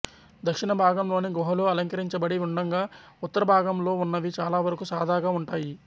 దక్షిణ భాగంలోని గుహలు అలంకరించబడి ఉండగా ఉత్తర భాగంలో ఉన్నవి చాలావరకు సాదాగా ఉంటాయి